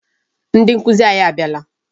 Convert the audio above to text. Ndị nkụzi anyị abịala.